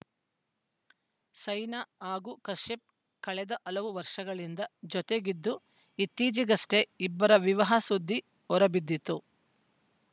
ಸೈನಾ ಹಾಗೂ ಕಶ್ಯಪ್‌ ಕಳೆದ ಹಲವು ವರ್ಷಗಳಿಂದ ಜತೆಗಿದ್ದು ಇತ್ತೀಚೆಗಷ್ಟೇ ಇಬ್ಬರ ವಿವಾಹ ಸುದ್ದಿ ಹೊರಬಿದ್ದಿತ್ತು